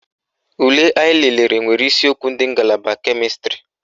Ule anyị lelere nwere isiokwu ndị ngalaba kemịstrị